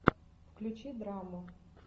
включи драму